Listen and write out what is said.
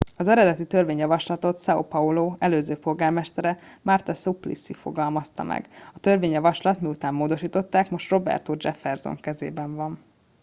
az eredeti törvényjavaslatot são paulo előző polgármestere marta suplicy fogalmazta meg. a törvényjavaslat - miután módosították - most roberto jefferson kezében van